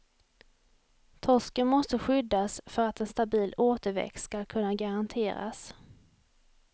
Torsken måste skyddas för att en stabil återväxt skall kunna garanteras.